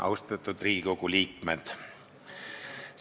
Austatud Riigikogu liikmed!